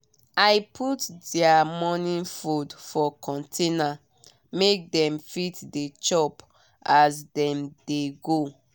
i put their morning food for container make dem fit dey chop as dem dey go.